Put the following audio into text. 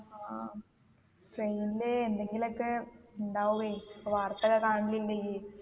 ആ train ല് എന്തെങ്കിലൊക്കെ ഇണ്ടാവുവേ ഇപ്പൊ വാർത്ത ഒക്കെ കാണുന്നില്ലേ ഇയ്യ്‌